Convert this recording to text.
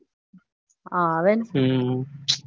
હા આવે